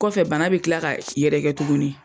Kɔfɛ bana bɛ kila ka yɛrɛ kɛ tugunni.